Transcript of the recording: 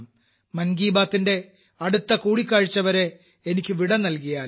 മൻ കി ബാത്തിന്റെ അടുത്ത കൂടിക്കാഴ്ച്ചവരെ എനിക്ക് വിട നൽകിയാലും